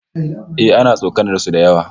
Eh, ana tsokanar su da yawa